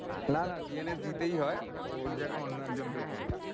না না DNA দিতেই হয়, ওর জায়গায় অন্য একজন কেউ করে।